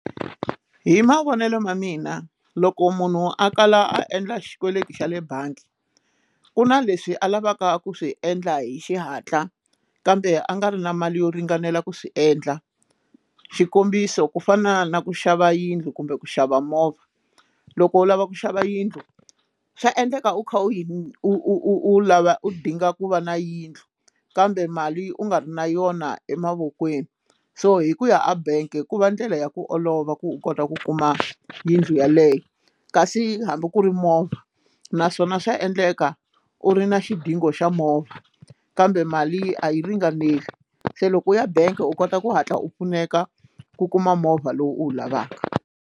Hi mavonelo ma mina loko munhu a kala a endla xikweleti xa le bangi ku na leswi a lavaka ku swi endla hi xihatla kambe a nga ri na mali yo ringanela ku swi endla xikombiso ku fana na ku xava yindlu kumbe ku xava movha loko u lava ku xava yindlu xa endleka u kha u lava u dinga ku va na yindlu kambe mali u nga ri na yona emavokweni so hi ku ya a bank hikuva ndlela ya ku olova ku u kota ku kuma yindlu yeleyo kasi hambi ku ri movha naswona swa endleka u ri na xiphiqo xa movha kambe mali a yi ringaneli se loko u ya bangi u kota ku hatla u pfuneka ku kuma movha lowu u wu lavaka.